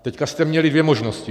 Teď jste měli dvě možnosti.